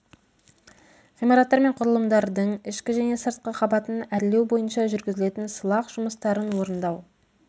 ғимараттар мен құрылымдардың ішкі және сыртқы қабатын әрлеу бойынша жүргізілетін сылақ жұмыстарын орындау